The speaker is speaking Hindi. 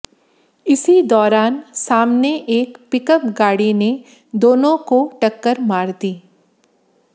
इसी दौरान सामने एक पिकअप गाड़ी ने दोनों की टक्कर मार दी